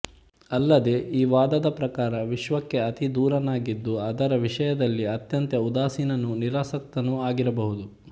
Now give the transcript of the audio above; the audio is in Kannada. ಅಲ್ಲದೆ ಈ ವಾದದ ಪ್ರಕಾರ ವಿಶ್ವಕ್ಕೆ ಅತಿದೂರನಾಗಿದ್ದು ಅದರ ವಿಷಯದಲ್ಲಿ ಅತ್ಯಂತ ಉದಾಸೀನನೂ ನಿರಾಸಕ್ತನೂ ಆಗಿರಬಹುದು